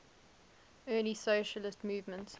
early socialist movement